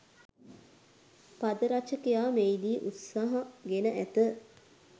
පද රචකයා මෙහිදී උත්සාහ ගෙන ඇත